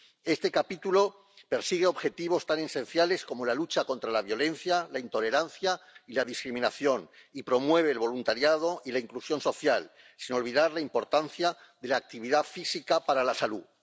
Este capítulo persigue objetivos tan esenciales como la lucha contra la violencia, la intolerancia y la discriminación y promueve el voluntariado y la inclusión social, sin olvidar la importancia de la actividad física para la salud.